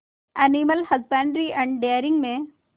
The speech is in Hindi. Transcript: एनिमल हजबेंड्री एंड डेयरिंग में